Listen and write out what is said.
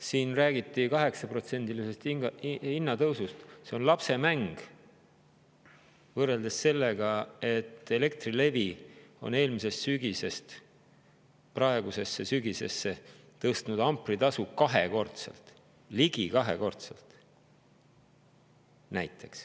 Siin räägiti 8%-lisest hinnatõusust – see on lapsemäng võrreldes sellega, et Elektrilevi on eelmisest sügisest alates praeguseks tõstnud ampritasu ligi kahekordselt.